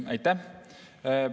Aitäh!